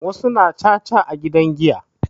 wasu suna caca a gidan giya